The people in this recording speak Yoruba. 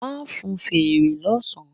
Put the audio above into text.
Ma fún feré lọ sán